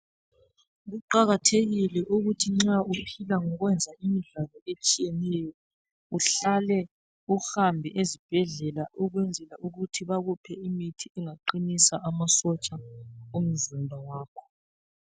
Kuqakathekile ukuthi nxa uphila ngokwenza imidlalo etshiyeneyo, uhlale, uhambe ezibhedlela ukwenzela ukuthi bakuphe imithi engaqinisa amasotsha omzimba wakho.